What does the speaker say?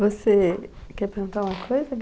Você quer perguntar uma coisa, g